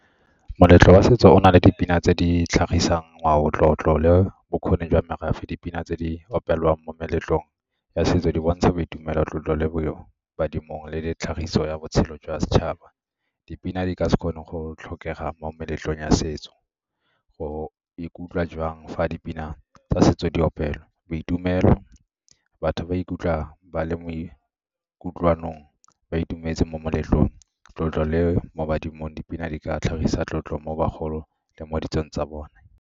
Moletlo wa setso o na le dipina tse di tlhagisang ngwao, tlotlo le bokgoni jwa merafe. Dipina tse di opelwang mo meletlong ya setso di bontsha boitumelo tlotlo le badimong le tlhagiso ya botshelo jwa setšhaba. Dipina di ka se kgone go tlhokega mo meletlong ya setso. O ikutlwa jwang fa a dipina tsa setso di opelwa? Boitumelo, batho ba ikutlwa ba le mo kutlwanong, ba itumetse mo moletlong, tlotlo le mo badimong, dipina di ka tlhagisa tlotlo mo bagolong le mo ditsong tsa bone.